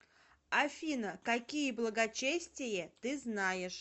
афина какие благочестие ты знаешь